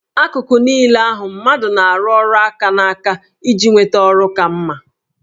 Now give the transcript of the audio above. Akụkụ niile nke ahụ mmadụ na-arụ ọrụ aka na aka iji nweta ọrụ ka mma